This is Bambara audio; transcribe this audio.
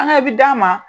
An ka bi d'a ma